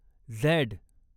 Z